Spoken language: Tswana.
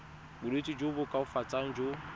bolwetsi jo bo koafatsang jo